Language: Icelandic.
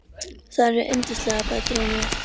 Þær eru yndislegar, bætir hún við.